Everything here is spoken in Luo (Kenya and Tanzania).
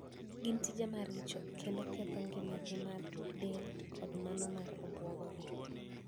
Gin tije maricho kendo ketho ngimagi mar del koda mano mar obwongo gi